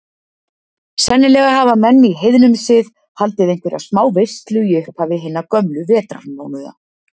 Sennilega hafa menn í heiðnum sið haldið einhverja smáveislu í upphafi hinna gömlu vetrarmánaða.